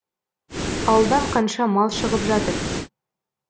ауылдан қанша мал шығып жатыр